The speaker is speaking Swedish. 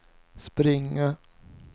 springa